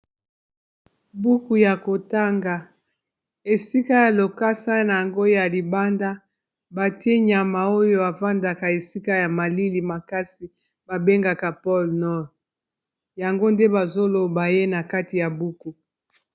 Buku oyo bana ba tangaka pona kofungola bongo. Neti oyo balingaka mingi kombo nango na lopoto "Un ours sur la banquise"